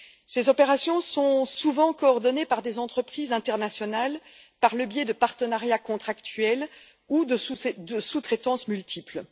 Ces opérations sont souvent coordonnées par des entreprises internationales par le biais de partenariats contractuels ou de sous traitances multiples.